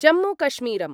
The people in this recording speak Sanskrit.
जम्मूकश्मीरम्